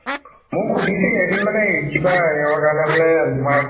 মোক সুধিছিলে এদিন মানে এই কিবা সেইঅৰ কাৰণে মানে তোমাৰ